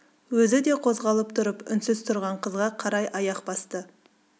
өзі де қозғалып тұрып үнсіз тұрған қызға қарай аяқ басты